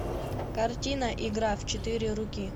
картина игра в четыре руки